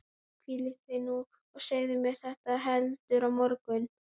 Hvíldu þig nú og segðu mér þetta heldur á morgun.